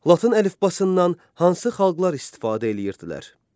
Latın əlifbasından hansı xalqlar istifadə eləyirdilər?